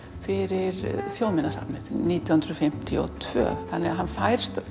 fyrir Þjóðminjasafnið nítján hundruð fimmtíu og tvö þannig að hann fær